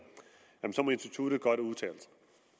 så må instituttet godt udtale